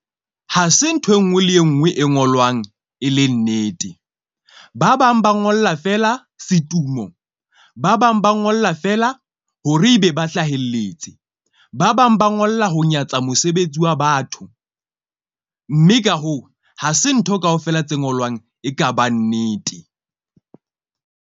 Ha se nthwe nngwe le e nngwe e ngolwang e le nnete. Ba bang ba ngolla feela setumo, ba bang ba ngola fela hore ebe ba hlahelletse. Ba bang ba ngolla ho nyatsa mosebetsi wa batho, mme ka hoo, ha se ntho kaofela tse ngolwang. Ekaba nnete.